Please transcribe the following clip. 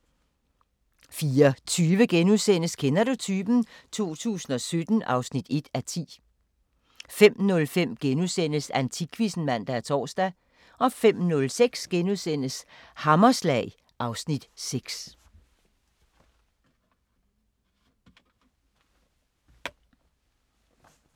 04:20: Kender du typen? 2017 (1:10)* 05:05: Antikquizzen *(man og tor) 05:06: Hammerslag (Afs. 6)*